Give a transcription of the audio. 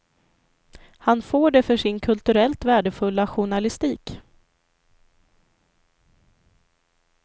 Han får det för sin kulturellt värdefulla journalistik.